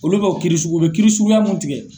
Olu bɛ o kiiri sugu, u bɛ kiri suguyaw mun tigɛ.